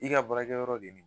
I ka baraKɛyɔrɔ be min.